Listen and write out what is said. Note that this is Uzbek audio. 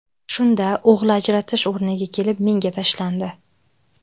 Shunda o‘g‘li ajratish o‘rniga kelib menga tashlandi.